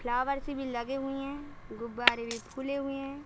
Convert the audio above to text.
Flower सी भी लगे हुए हैं गुब्बारे भी फूले हुए हैं।